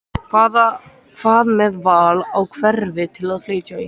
Hvað með val á hverfi til að flytja í?